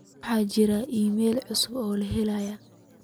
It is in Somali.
waxaa jira iimaylo cusub oo la helay